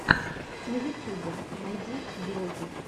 на ютюбе найди влоги